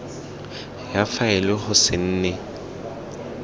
ya faele go se nne